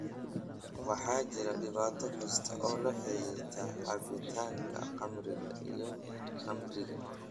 waxaa jira dhibaato kasta oo la xiriirta cabbitaanka khamriga iyo khamriga